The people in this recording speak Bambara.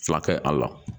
Fila kɛ a la